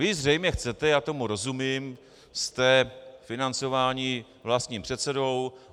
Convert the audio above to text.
Vy zřejmě chcete, a tomu rozumím, jste financováni vlastním předsedou.